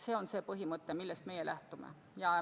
See on see põhimõte, millest meie lähtume.